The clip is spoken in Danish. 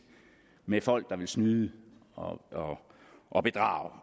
med folk der vil snyde og og bedrage